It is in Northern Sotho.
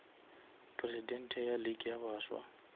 presidente ya league ya baswa